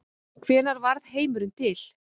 Hvenær varð heimurinn til?